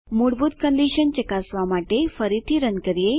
મૂળભૂત કંડીશન ચકાસવા માટે ફરીથી રન કરીએ